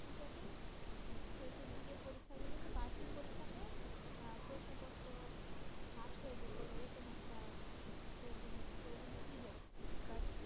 শেষের দিকে পরীক্ষা গুলোতে, বার্ষিক পরীক্ষাতে আহ প্রশ্নপত্র ফাঁস হয়ে যেত এরকম একটা ছিল but